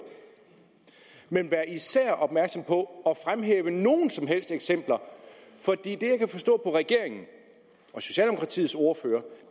man skal især være opmærksom på at fremhæve nogen som helst eksempler for det jeg kan forstå på regeringen og socialdemokratiets ordfører